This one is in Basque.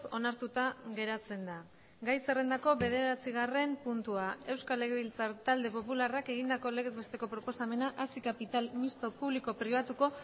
onartuta geratzen da gai zerrendako bederatzigarren puntua euskal legebiltzar talde popularrak egindako legez besteko proposamena hazi kapital misto publiko pribatuko